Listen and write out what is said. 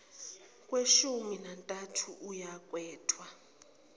kweshumi nantathu ayokhethwa